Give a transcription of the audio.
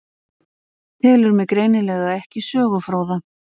Telur mig greinilega ekki sögufróða.